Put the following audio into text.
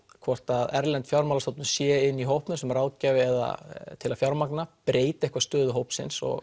hvort að erlend fjármálastofnun sé inni í hópnum sem ráðgjafi eða til að fjármagna breyti eitthvað stöðu hópsins og